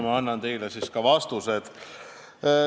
Ma annan teile ka vastused.